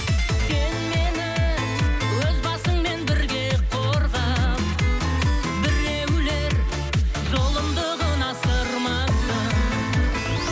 сен мені өз басыңмен бірге қорға біреулер зұлымдығын асырмасын